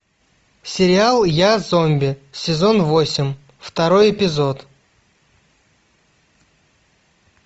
сериал я зомби сезон восемь второй эпизод